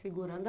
Segurando a